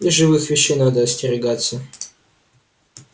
и живых вещей надо остерегаться